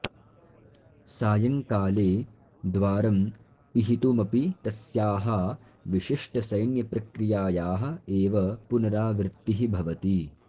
सायं काले द्वारं पिहितुमपि तस्याः विशिष्टसैन्यप्रक्रियायाः एव पुनरावृत्तिः भवति